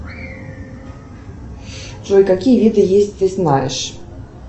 джой какие виды есть ты знаешь